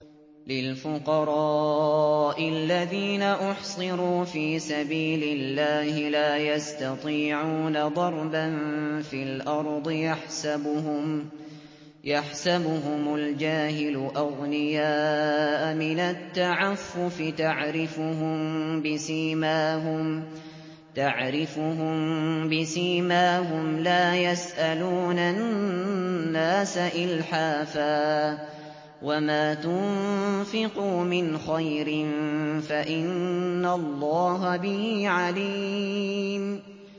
لِلْفُقَرَاءِ الَّذِينَ أُحْصِرُوا فِي سَبِيلِ اللَّهِ لَا يَسْتَطِيعُونَ ضَرْبًا فِي الْأَرْضِ يَحْسَبُهُمُ الْجَاهِلُ أَغْنِيَاءَ مِنَ التَّعَفُّفِ تَعْرِفُهُم بِسِيمَاهُمْ لَا يَسْأَلُونَ النَّاسَ إِلْحَافًا ۗ وَمَا تُنفِقُوا مِنْ خَيْرٍ فَإِنَّ اللَّهَ بِهِ عَلِيمٌ